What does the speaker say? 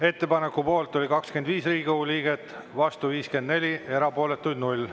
Ettepaneku poolt oli 25 Riigikogu liiget, vastu 54, erapooletuid 0.